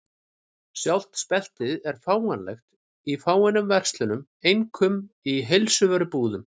Sjálft speltið er fáanlegt í fáeinum verslunum, einkum í heilsuvörubúðum.